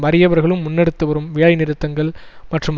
வறியவர்களும் முன்னெடுத்து வரும் வேலை நிறுத்தங்கள் மற்றும்